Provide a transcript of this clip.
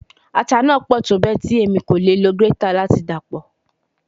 Ata naa pọ tobẹẹ ti Emi ko le lo grater lati dapọ